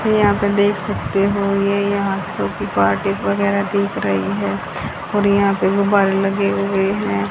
यहां पे देख सकते हो ये यहां पे छोटी पार्टी वगैरह दिख रही है और यहां पे गुब्बारे लगे हुए हैं।